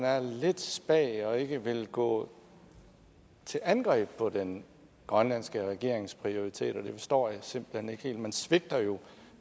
er lidt spag og ikke vil gå til angreb på den grønlandske regerings prioriteter det forstår jeg simpelt hen ikke helt man svigter jo